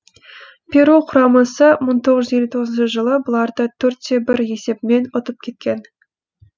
перу құрамасы мың тоғыз жүз елу тоғызыншы жылы бұларды төрт те бір есебімен ұтып кеткен